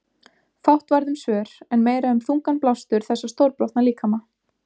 Fátt varð um svör en meira um þungan blástur þessa stórbrotna líkama.